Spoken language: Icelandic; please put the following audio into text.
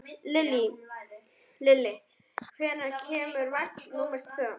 Lilli, hvenær kemur vagn númer tvö?